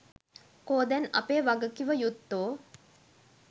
කො දැන් අපේ වගකිව යුත්තො?